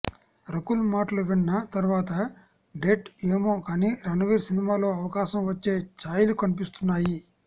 రకుల్ మాటలు విన్న తర్వాత డేట్ ఏమో కానీ రణవీర్ సినిమాలో అవకాశం వచ్చే ఛాయలు కనిపిస్తున్నాయి